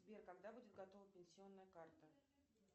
сбер когда будет готова пенсионная карта